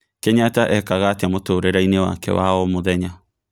Kenyatta ekangaa atĩa mũtũrĩreini wake wa o mũthenya